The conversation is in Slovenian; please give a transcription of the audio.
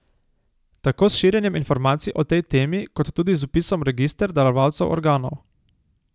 Tako s širjenjem informacij o tej temi kot tudi z vpisom v register darovalcev organov.